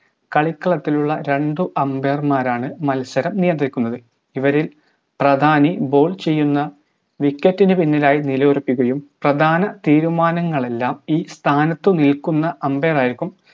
കളിക്കളത്തിലുള്ള രണ്ട് umbair മാരാണ് മത്സരം നിയന്ത്രിക്കുന്നത് ഇവരിൽ പ്രധാനി ball ചെയ്യുന്ന wicket നു പിന്നിലായി നില ഉറപ്പിക്കുകയും പ്രധാന തീരുമാനങ്ങളെല്ലാം ഈ സ്ഥാനത്തു നിൽക്കുന്ന umbair ആയിരിക്കും